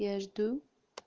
я жду